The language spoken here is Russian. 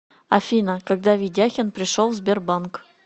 афина когда ведяхин пришел в сбербанк